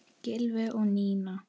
Gylfi og Nína.